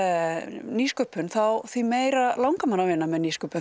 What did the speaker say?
nýsköpun því meira langar manni að vinna með nýsköpun